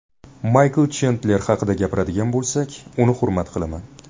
Maykl Chendler haqida gapiradigan bo‘lsak, uni hurmat qilaman.